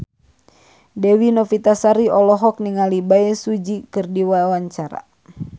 Dewi Novitasari olohok ningali Bae Su Ji keur diwawancara